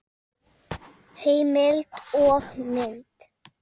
Heimild og mynd